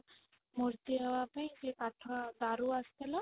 ମୂର୍ତ୍ତି ନବା ପାଇଁ ସେ କାଠ ଦାରୁ ଆସିଥିଲା